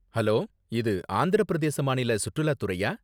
Hello, இது ஆந்திர பிரதேச மாநில சுற்றுலா துறையா?